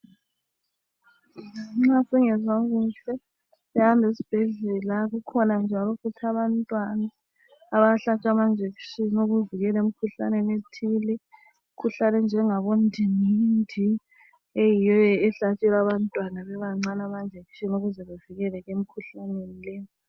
nxa singezwa kuhle siyahamba esibhedlela kukhona njalo abantwana abahlatshwa ama injection yokuvikela emkhuhlaneni ethile imkhuhlane enjengabo ndingindi eyiyo ehlasela abantwana bebancane ama injection ukuze bevikeleke emkhuhlaneni le